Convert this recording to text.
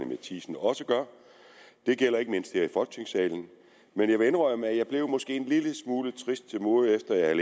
matthiesen også gør det gælder ikke mindst her i folketingssalen men jeg vil indrømme at jeg måske blev en lille smule trist til mode efter at jeg